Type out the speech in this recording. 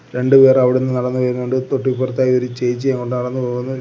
രണ്ട്‌ പേർ അവിടുന്ന് നടന്നു വരുന്നുണ്ട് തൊട്ടിപ്പുറത്തായി ഒരു ചേച്ചി അങ്ങോട്ട് നടന്നു പോകുന്നു.